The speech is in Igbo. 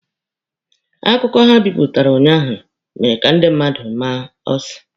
Akụkọ ha bipụtara unyaahụ mere ka ndị mmadụ maa ụsụ.